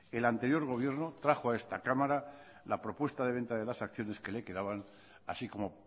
el anterior gobierno trajo a esta cámara la propuesta de venta de las acciones que le quedaban así como